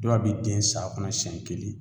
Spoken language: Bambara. Dɔa be den san kɔnɔ siɲɛ kelen